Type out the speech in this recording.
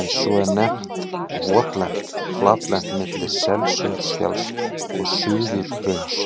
en svo er nefnt votlent flatlendi milli Selsundsfjalls og Suðurhrauns.